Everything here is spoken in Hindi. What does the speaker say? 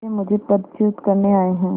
वे मुझे पदच्युत करने आये हैं